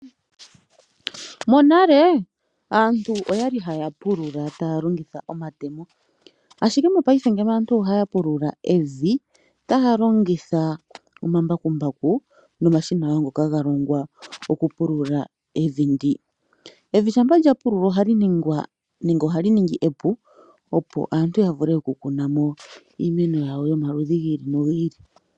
Monale aantu oyali haya pulula taya longitha omatemo ashike mopaife aantu ohaya pulula evi taya longitha omambakumbaku nomashina wo ngoka galongwa gokupulula evi ndi. Evi shampa lyapululwa ohali ningwa nenge ohali ningi epu opo aantu yavule okukunamo iimeno yawo yomaludhi giili no giili.